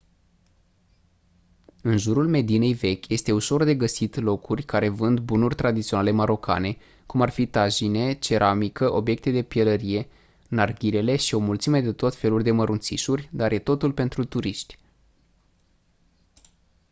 în jurul medinei vechi este ușor de găsit locuri care vând bunuri tradiționale marocane cum ar fi tajine ceramică obiecte de pielărie narghilele și o mulțime de tot felul de mărunțișuri dar e totul pentru turiști